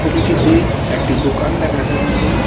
ছবিটিতে একটি দোকান দেখা যাচ্ছে।